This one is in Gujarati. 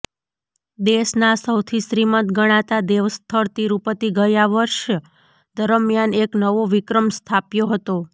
દેશના સૌથી શ્રીમંત ગણાતા દેવસ્થળ તિરુપતિ ગયા વર્ષ દરમિયાન એક નવો વિક્રમ સ્થાપ્યો હતો